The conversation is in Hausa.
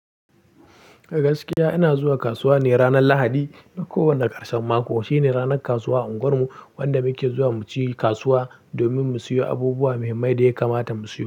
Gaskiya ina zuwa kasuwa ne ranar Lahadi na kowane ƙarshen mako. Shine ranar kasuwa a unguwar mu wanda muke zuwa mu ci kasuwa domin mu siyo abubuwa muhimmai da ya kamata mu siyo.